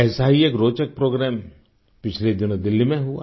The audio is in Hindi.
ऐसा ही एक रोचक प्रोग्राम पिछले दिनों दिल्ली में हुआ